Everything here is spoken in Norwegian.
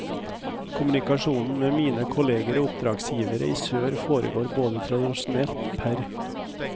Kommunikasjonen med mine kolleger og oppdragsgivere i sør foregår både tradisjonelt, pr.